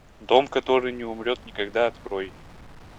дом который не умрет никогда открой